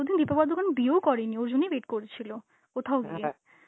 দিন দীপিকা পাডুকোন বিয়েও করেনি, ওর জন্যই wait করছিল কোথাও গিয়ে.